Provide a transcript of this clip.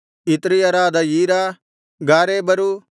ಇತ್ರೀಯರಾದ ಈರ ಗಾರೇಬರು